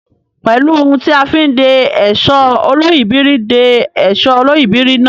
Pẹ̀lú ohun tí a fi ń de èsó olóyìíbìrí de èsó olóyìíbìrí náà.